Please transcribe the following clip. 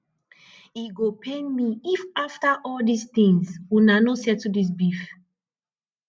e go pain me if after all dis things una no settle dis beef